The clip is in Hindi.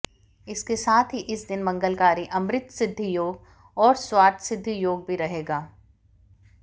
इसके साथ ही इस दिन मंगलकारी अमृतसिद्धि योग और सर्वार्थ सिद्धि योग भी रहेगा